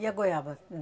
E a goiaba?